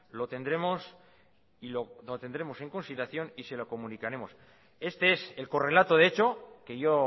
lo tendremos en consideración y se lo comunicaremos este es el correlato de hecho que yo